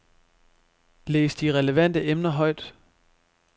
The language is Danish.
Læs de relevante emner højt.